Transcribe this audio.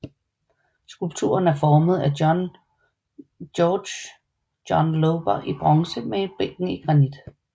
Skulpturen er formet af Georg John Lober i bronze med bænken i granit